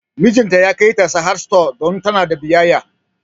Mijinta ya kai ta Sahad stores don tana da biyayya